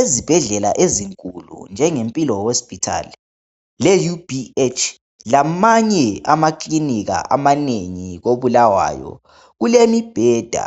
Ezibhedlela ezinkulu njenge Mpilo hospital le UBH lamanye amakilinika amanengi ko Bulawayo. Kulemibheda